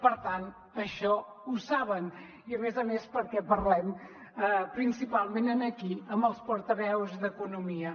per tant això ho saben i a més a més perquè parlem principalment aquí amb els portaveus d’economia